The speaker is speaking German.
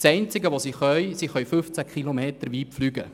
Das Einzige, was die Drohnen können, ist 15 km weit fliegen.